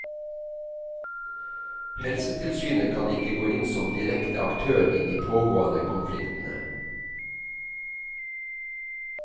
Helsetilsynet kan ikke gå inn som direkte aktør i de pågående konfliktene.